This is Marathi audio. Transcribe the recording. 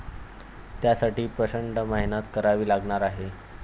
त्यासाठी प्रचंड मेहनत करावी लागणार आहे.